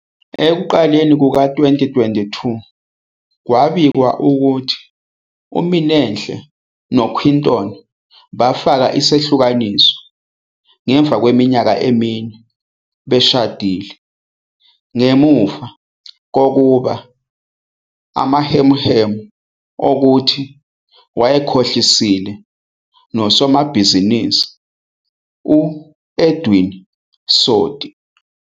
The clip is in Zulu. Ekuqaleni kuka-2022, kwabikwa ukuthi uMinenhle no-Quinton bafaka isehlukaniso ngemuva kweminyaka emine beshadile ngemuva kokuba kunamahemuhemu okuthi wayekhohlisile nosomabhizinisi u-Edwin Sodi.